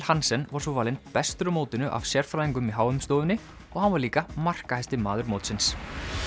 Hansen var svo valinn bestur á mótinu af sérfræðingunum í h m stofunni og hann var líka markahæsti maður mótsins